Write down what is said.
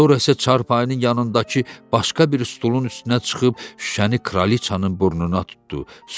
Sonra isə çarpayının yanındakı başqa bir stulun üstünə çıxıb şüşəni kraliçanın burnuna tutdu.